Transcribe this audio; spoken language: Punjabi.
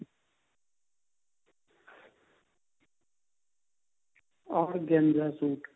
organza suit